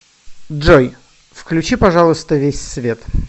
джой включи пожалуйста весь свет